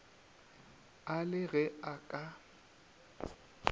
a le ge e ka